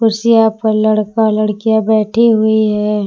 कुर्सियां पर लड़का लड़कियां बैठी हुई है।